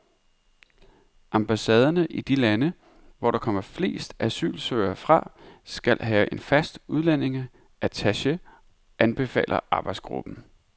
Ambassaderne i de lande, hvor der kommer flest asylsøgere fra, skal have en fast udlændingeattache, anbefaler arbejdsgruppen.